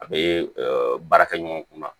A bɛ baarakɛ ɲɔgɔn kunna